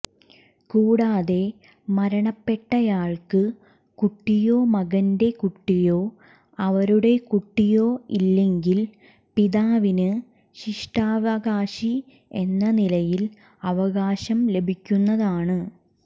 കൂടാതെ മരണപ്പെട്ടയാൾക്ക് കുട്ടിയോ മകന്റെ കുട്ടിയോ അവരുടെ കുട്ടിയൊ ഇല്ലെങ്കിൽ പിതാവിന് ശിഷ്ടാവകാശി എന്ന നിലയിൽ അവകാശം ലഭിക്കുന്നതാണ്